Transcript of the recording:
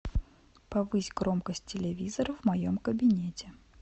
повысь громкость телевизора в моем кабинете